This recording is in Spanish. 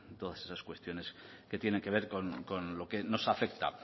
todas esas cuestiones que tienen que ver con lo que nos afecta